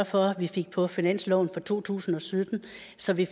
for at vi fik på finansloven for to tusind og sytten så vi